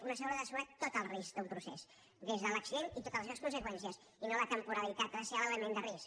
una asseguradora ha d’assegurar tot el risc d’un procés des de l’accident i totes les seves conseqüències i no la temporalitat ha de ser l’element de risc